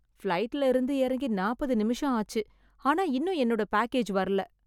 ஃப்ளைட்ல இருந்து எறங்கி நாப்பது நிமிஷம் ஆச்சு ஆனா இன்னும் என்னோட பேக்கேஜ் வரல